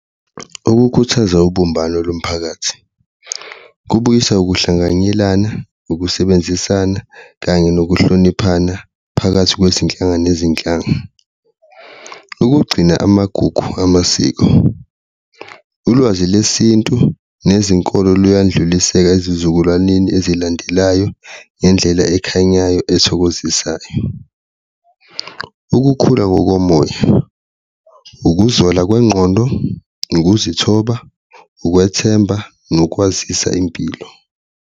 Ukukhuthaza ubumbano lomphakathi kubuyisa ukuhlanganyelana, ukusebenzisana kanye nokuhloniphana phakathi kwezinhlanga nezinhlanga. Ukugcina amagugu amasiko, ulwazi lesintu nezinkolo luyandlulisela ezizukulwaneni ezilandelayo ngendlela ekhanyayo ethokozisayo, ukukhula ngokomoya, ukuzola kwengqondo, ukuzithoba, ukwethemba, nokwazisa impilo.